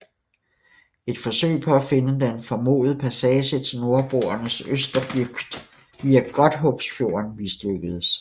Et forsøg på at finde den formodede passage til Nordboernes Østerbygd via Godthåbfjorden mislykkedes